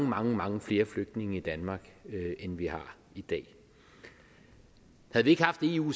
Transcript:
mange mange flere flygtninge i danmark end vi har i dag havde vi ikke haft eu